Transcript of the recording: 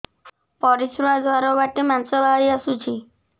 ପରିଶ୍ରା ଦ୍ୱାର ବାଟେ ମାଂସ ବାହାରି ଆସୁଛି